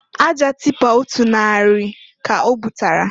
Aja tipa otu narị ka obutara.